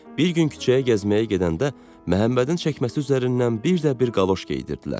Bir gün küçəyə gəzməyə gedəndə Məhəmmədin çəkməsi üzərindən bir də bir qaloş geydirdilər.